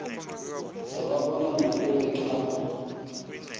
sababona ngoku benxhama